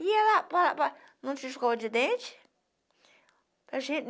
E ela... Não tinha escova de dente.